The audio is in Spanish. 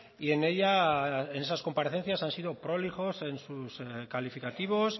y en ella en esas comparecencias han sido prolijos en sus calificativos